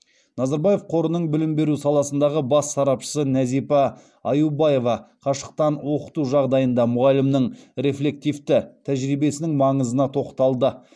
назарбаев қорының білім беру саласындағы бас сарапшысы нәзипа аюбаева қашықтан оқыту жағдайында мұғалімнің рефлективті тәжірибесінің маңызы на тоқталды